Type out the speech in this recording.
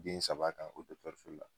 Den saba kan oto gɔlifu la